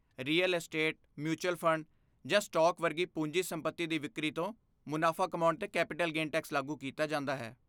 Real estate, mutual fund, ਜਾਂ stock ਵਰਗੀ ਪੂੰਜੀ ਸੰਪਤੀ ਦੀ ਵਿਕਰੀ ਤੋਂ ਮੁਨਾਫਾ ਕਮਾਉਣ 'ਤੇ ਕੈਪੀਟਲ ਗੇਨ ਟੈਕਸ ਲਾਗੂ ਕੀਤਾ ਜਾਂਦਾ ਹੈ।